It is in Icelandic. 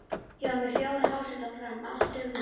Ég var með fjóra háseta á Fram, allt dugnaðarmenn.